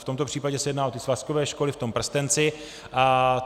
V tomto případě se jedná o ty svazkové školy v tom prstenci.